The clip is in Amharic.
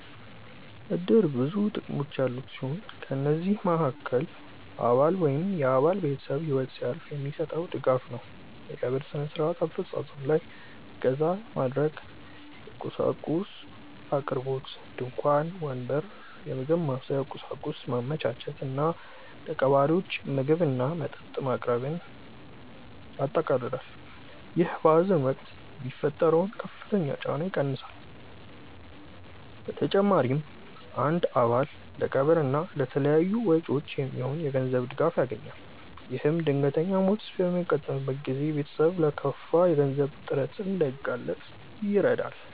እድር ብዙ ጥቅሞች ያሉት ሲሆን ከነዚህም መሃከል አባል ወይም የአባል ቤተሰብ ህይወት ሲያልፍ የሚሰጠው ድጋፍ ነው። የቀብር ስነ-ስርዓት አፈፃፀም ላይ እገዛ ማድረግ፣ የቁሳቁስ አቅርቦት (ድንኳን፣ ወንበር፣ የምግብ ማብሰያ ቁሳቁስ) ማመቻቸት እና ለቀባሪዎች ምግብና መጠጥ ማቅረብን ያጠቃልላል። ይህ በሀዘን ወቅት የሚፈጠረውን ከፍተኛ ጫና ይቀንሳል። በተጨማሪም አንድ አባል ለቀብር እና ለተያያዙ ወጪዎች የሚሆን የገንዘብ ድጋፍ ያገኛል። ይህም ድንገተኛ ሞት በሚያጋጥምበት ጊዜ ቤተሰብ ለከፋ የገንዘብ እጥረት እንዳይጋለጥ ይረዳል።